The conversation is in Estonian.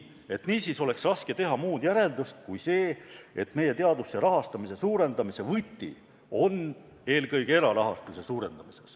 Niisiis oleks raske teha muud järeldust kui see, et meie teaduse rahastamise suurendamise võti on eelkõige erarahastuse suurendamine.